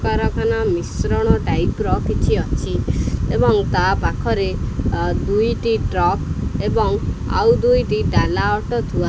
କାରଖାନା ମିଶ୍ରଣ ଟାଇପ୍ ର କିଛି ଅଛି ଏବଂ ତା ପାଖରେ ଆ ଦୁଇଟି ଟ୍ରକ୍ ଏବଂ ଆଉ ଦୁଇଟି ଡ଼ାଲା ଅଟୋ ଥୁଆ --